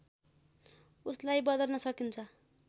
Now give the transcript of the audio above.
उसलाई बदल्न सकिन्छ